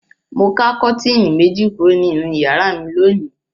Mo ká kọ́tíínì méjì kúrò nínú ìyàrá mi lónìí.